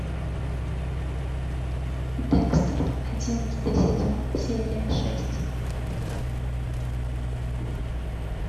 декстер одиннадцатый сезон серия шесть